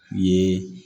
Ye